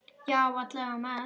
Já, alla vega mest.